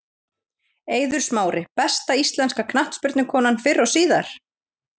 Eiður Smári Besta íslenska knattspyrnukonan fyrr og síðar?